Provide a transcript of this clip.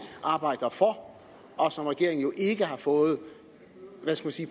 arbejder for og som regeringen jo ikke har fået